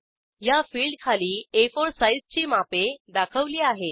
या फिल्डखाली आ4 साईजची मापे दाखवली आहेत